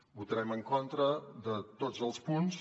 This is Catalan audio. votarem en contra de tots els punts